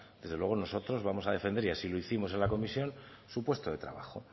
desde luego nosotros vamos a defender y así lo hicimos en la comisión su puesto de trabajo